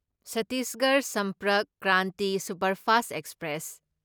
Chhattisgarh Sampark Kranti superfast express